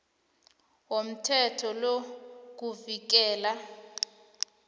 womthetho lo kuvikela